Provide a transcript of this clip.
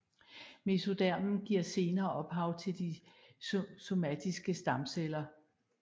Mesodermen giver senere ophav til de somatiske stamceller